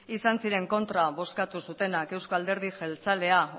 izan ziren kontra bozkatu zutenak eusko alderdi jeltzalea